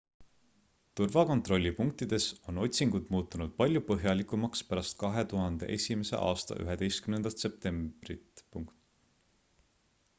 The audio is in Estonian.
turvakontrollipunktides on otsingud muutunud palju põhjalikumaks pärast 2001 aasta 11 septembrilt